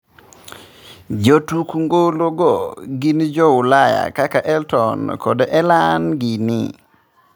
Jotuk Ngolo go gin jo Ulaya kaka Elton kod Ellen gini.